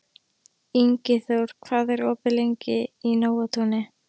Ingiþór, hvað er opið lengi í Nóatúni?